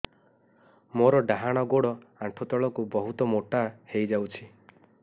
ମୋର ଡାହାଣ ଗୋଡ଼ ଆଣ୍ଠୁ ତଳକୁ ବହୁତ ମୋଟା ହେଇଯାଉଛି